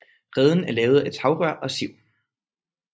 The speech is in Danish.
Reden er lavet af tagrør og siv